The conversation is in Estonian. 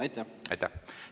Aitäh!